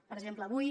per exemple avui